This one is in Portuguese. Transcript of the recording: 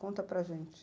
Conta para gente.